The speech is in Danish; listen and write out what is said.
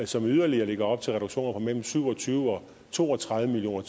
som yderligere lægger op til reduktioner på mellem syv og tyve og to og tredive million